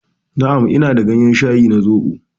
Na'am, ina da gayen shayi na zobo